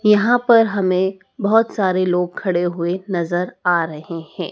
यहां पर हमे बहोत सारे लोग खडे हुए नज़र आ रहे है।